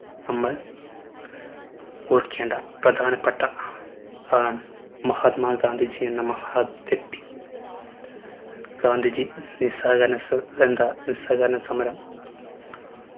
നമ്മൾ ഓർക്കേണ്ട പ്രധാനപ്പെട്ട ആളാണ് മഹാത്മാ ഗാന്ധിജി എന്ന മഹത്‌വ്യക്തി ഗാന്ധിജി നിസ്സഹകരണ നിസ്സഹരണ സമരം